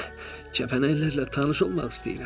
Axı kəpənəklərlə tanış olmaq istəyirəm.